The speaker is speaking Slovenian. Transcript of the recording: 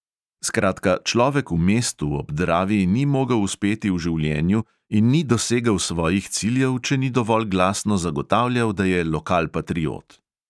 Skratka, človek v mestu ob dravi ni mogel uspeti v življenju in ni dosegel svojih ciljev, če ni dovolj glasno zagotavljal, da je lokalpatriot.